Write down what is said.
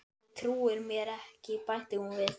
Kalli trúir mér ekki bætti hún við.